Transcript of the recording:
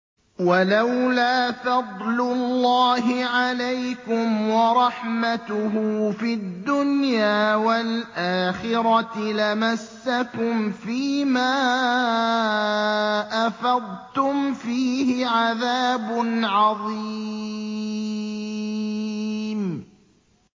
وَلَوْلَا فَضْلُ اللَّهِ عَلَيْكُمْ وَرَحْمَتُهُ فِي الدُّنْيَا وَالْآخِرَةِ لَمَسَّكُمْ فِي مَا أَفَضْتُمْ فِيهِ عَذَابٌ عَظِيمٌ